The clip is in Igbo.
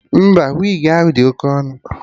Mba, wigi ahụ dị Oke ọnụ